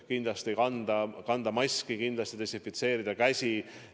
Kindlasti tuleb kanda maske, kindlasti tuleb desinfitseerida käsi.